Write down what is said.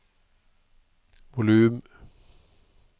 volum